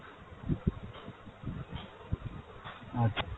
আচ্ছা।